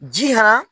Ji han